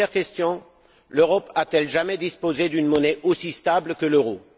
Première question l'Europe a t elle jamais disposé d'une monnaie aussi stable que l'euro?